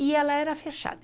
e ela era fechada.